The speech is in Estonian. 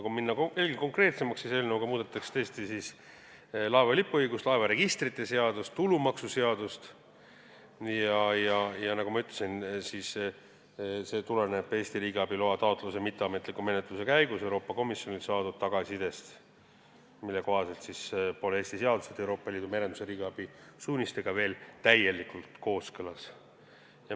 Kui minna veel konkreetsemaks, siis eelnõuga muudetakse laeva lipuõiguse ja laevaregistrite seadust, tulumaksuseadust ning, nagu ma ütlesin, tuleneb see Eesti riigiabi loa taotluse mitteametliku menetluse käigus Euroopa Komisjonilt saadud tagasisidest, mille kohaselt pole Eesti seadused Euroopa Liidu merenduse riigiabi suunistega veel täielikult kooskõlas.